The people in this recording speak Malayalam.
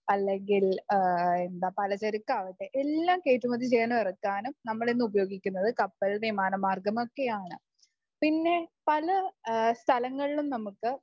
അല്ലെങ്കിൽ ആ എന്താ പലചരക്ക് ആകട്ടെ എല്ലാം കയറ്റുമതി ചെയ്യാനും ഇറക്കാനും നമ്മൾ ഇന്നു ഉപയോഗിക്കുന്നത് കപ്പൽ വിമാന മാർഗം ഒക്കെയാണ് . പിന്നെ പല സ്ഥലങ്ങളിലും നമുക്ക്